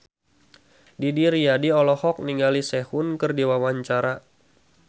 Didi Riyadi olohok ningali Sehun keur diwawancara